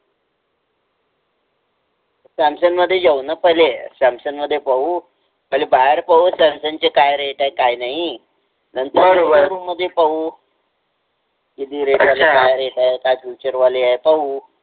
Samsung मध्ये जाऊन पहिले सॅमसंग मध्ये पाहू म्हणजे बाहेर पाहू सॅमसंग चे काय रेट आहे काय नाही नंतर शोरूम मध्ये पाहू किती रेट आहे काय आहेत काय फिचर वाले आहेत.